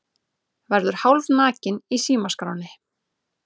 Verður hálfnakinn í símaskránni